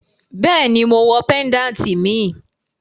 Bẹẹni, mo wọ péńdàtì míì.